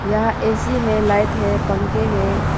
यहां ऐ_सी है लाइट है पंखे हैं।